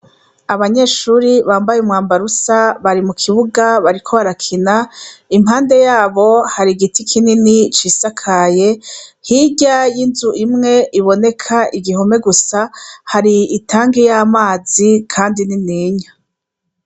Abanyeshuri bambaye umwambarusa bari mu kibuga bariko barakina impande yabo hari igiti kinini c'isakaye hirya y'inzu imwe iboneka igihome gusa hari itanki y' amazi, kandi ni ninya.